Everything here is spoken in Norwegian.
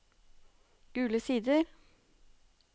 Gule Sider